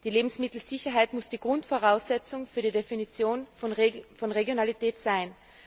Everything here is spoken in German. Die Lebensmittelsicherheit muss die Grundvoraussetzung für die Definition von Regionalität sein.